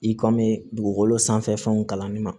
I kɔmi dugukolo sanfɛ fɛnw kalanni ma